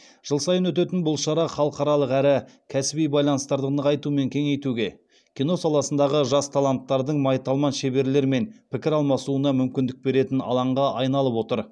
жыл сайын өтетін бұл шара халықаралық әрі кәсіби байланыстарды нығайту мен кеңейтуге кино саласындағы жас таланттардың майталман шеберлермен пікір алмасуына мүмкіндік беретін алаңға айналып отыр